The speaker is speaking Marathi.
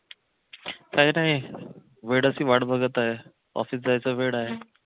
काही नाही वेळाची वाट बघत आहे ऑफिस जायचा वेळ आहे